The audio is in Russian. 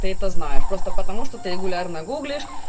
ты это знаешь просто потому что ты регулярно гуглишь